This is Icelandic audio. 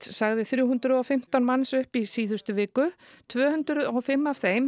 sagði þrjú hundruð og fimmtán manns upp í síðustu viku tvö hundruð og fimm af þeim